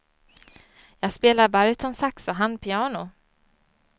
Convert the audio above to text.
Jag spelar barytonsax och han piano.